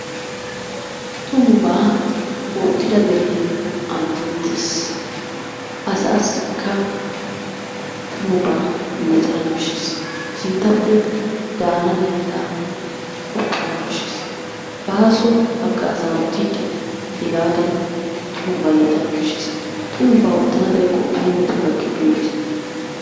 Tumubaa oottida deree anjjettes. Asaassikka tumabaa yootana koshshes. Sinttappe daana layttaa qoppanawu koshshes. Bàaso haggaazaa oottiiddi hegaadan tumubaa yootana koshshes. Tumubaa oottana xayikko ayi metoyi gakkiyakko yootite.